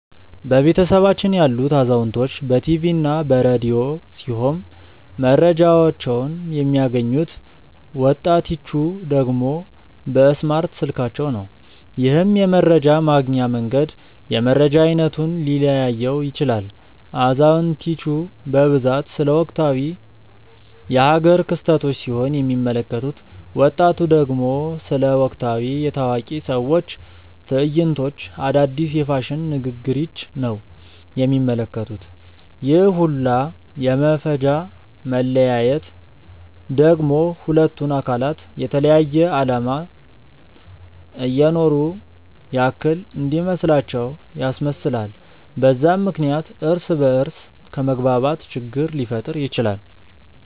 በቤተሰባችን ያሉት አዛውንቶች በ ቲቪ እና በ ረዲዮ ሲሆም መረጃቸውን የሚያገኙት፤ ወጣቲቹ ደግሞ በእስማርት ስልካቸው ነው። ይህም የመረጃ ማግኛ መንገድ የመረጃ አይነቱን ሊለያየው ይችላል። አዛውንቲቹ በብዛት ስለ ወቅታዊ የ ሃገር ክስተቶች ሲሆን የሚመለከቱት፤ ወጣቱ ደግሞ ስለ ወቅታዊ የ ታዋቂ ሰዎች ትዕይንቶች፣ አዳዲስ የ ፋሽን ንግግሪች ነው የሚመለከቱት፤ ይህ ሁላ የ መፈጃ መለያየት ደግሞ ሁለቱን አካላት የተለያየ አለማት እየኖሩ ያክል እንዲመስላቸው ያስመስላል፤ በዛም ምክንያት እርስ በ እርስ ከመግባባት ችግር ሊፈጠር ይችላል።